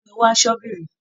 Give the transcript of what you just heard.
Bá mi wá ṣọ́bìrì.